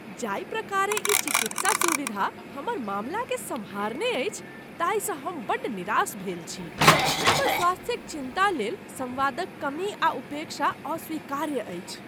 जाहि प्रकारेँ ई चिकित्सा सुविधा हमर मामलाकेँ सम्हारने अछि ताहिसँ हम बड्ड निराश भेल छी। हमर स्वास्थ्यक चिन्ता लेल संवादक कमी आ उपेक्षा अस्वीकार्य अछि।